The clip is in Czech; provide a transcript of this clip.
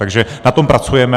Takže na tom pracujeme.